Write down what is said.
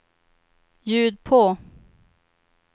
ljud på